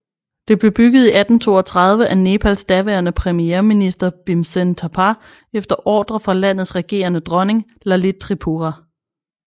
Det blev bygget i 1832 af Nepals daværende premierminister Bhimsen Thapa efter ordre fra landets regerende dronning Lalit Tripura